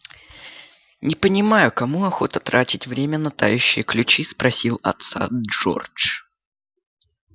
не понимаю кому охота тратить время на тающие ключи спросил отца джордж